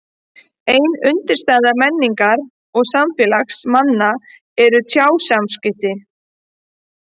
Ein undirstaða menningar og samfélags manna eru tjáskipti.